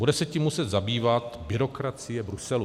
Bude se tím muset zabývat byrokracie Bruselu.